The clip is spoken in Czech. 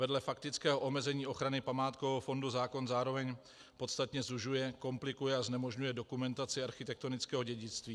Vedle faktického omezení ochrany památkového fondu zákon zároveň podstatně zužuje, komplikuje a znemožňuje dokumentaci architektonického dědictví.